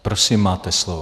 Prosím, máte slovo.